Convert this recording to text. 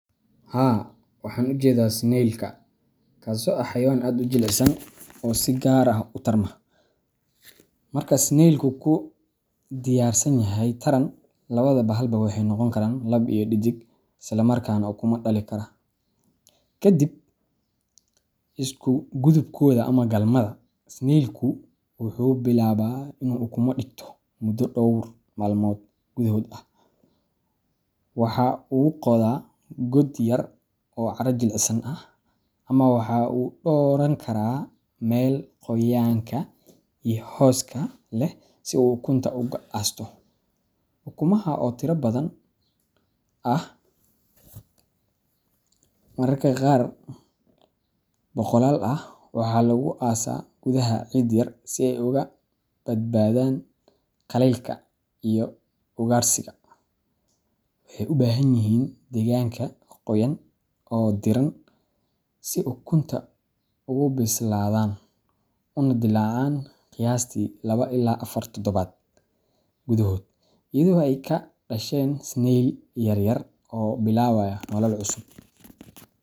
Haa waxan ujedaa Snail-ka kaso ah xayawaan aad u jilicsan oo si gaar ah u tarma. Marka snail-ku diyaarsan yahay taran, labada bahalba waxay noqon karaan lab iyo dhedig isla markaana ukumo dhali kara. Ka dib isugudubkooda ama galmada, snail-ku wuxuu bilaabaa inuu ukumo dhigto muddo dhowr maalmood gudahood ah. Waxa uu qoda god yar oo carro jilicsan ah, ama waxa uu dooran karaa meel qoyaanka iyo hooska leh si uu ukunta ugu aasto. Ukumaha oo tiro badan ah mararka qaar boqolaal ah waxaa lagu aasaa gudaha ciid yar si ay uga badbaadaan qaleylka iyo ugaadhsiga. Waxay u baahan yihiin deegaanka qoyan oo diiran si ukunta ay ugu bislaadaan una dillaacaan qiyaastii laba ilaa afar toddobaad gudahood, iyadoo ay ka dhasheen snail-yar yar oo bilaabaya nolol cusub.